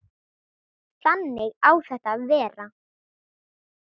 Þannig á þetta að vera.